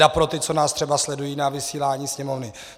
Teda pro ty, co nás třeba sledují na vysílání Sněmovny.